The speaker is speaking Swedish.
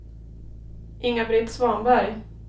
Inga-Britt Svanberg